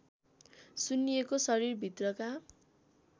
सुन्निएको शरीरभित्रका